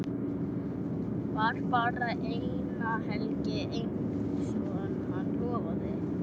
Var bara eina helgi einsog hann lofaði.